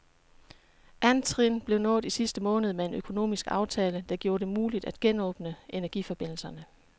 Andet trin blev nået i sidste måned med en økonomisk aftale, der gjorde det muligt at genåbne energiforbindelserne.